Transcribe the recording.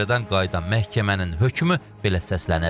Müşavirədən qayıdan məhkəmənin hökmü belə səslənib.